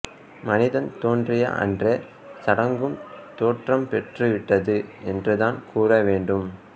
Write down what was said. மனிதன் தோன்றிய அன்றே சடங்கும் தோற்றம் பெற்றுவிட்டது என்றுதான் கூற வேண்டும்